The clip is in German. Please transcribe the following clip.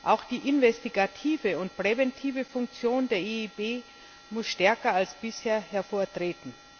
Auch die investigative und präventive Funktion der EIB muss stärker als bisher hervortreten.